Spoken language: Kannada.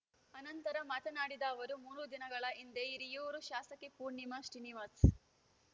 ಅನಂತರ ಮಾತನಾಡಿದ ಅವರು ಮೂರು ದಿನಗಳ ಹಿಂದೆ ಹಿರಿಯೂರು ಶಾಸಕಿ ಪೂರ್ಣಿಮಾ ಶ್ರೀನಿವಾಸ್‌